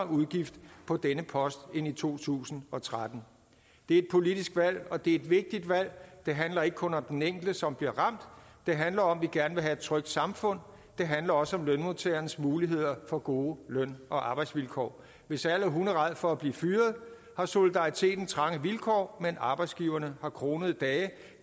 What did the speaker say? udgifter på denne post end i to tusind og tretten det er et politisk valg og det er et vigtigt valg det handler ikke kun om den enkelte som bliver ramt det handler om at vi gerne vil have et trygt samfund det handler også om lønmodtagernes muligheder for gode løn og arbejdsvilkår hvis alle er hunderædde for at blive fyret har solidariteten trange vilkår men arbejdsgiverne har kronede dage